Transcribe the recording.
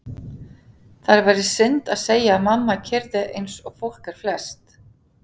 Það væri synd að segja að mamma keyrði eins og fólk er flest.